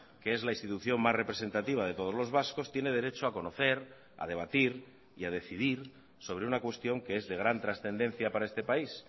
que es la institución más representativa de todos los vascos tiene derecho a conocer a debatir y a decidir sobre una cuestión que es de gran trascendencia para este país